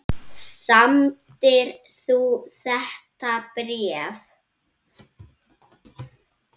Samdir þú þetta bréf?